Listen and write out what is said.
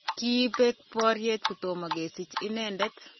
kibek boriet kotomo kesich inendet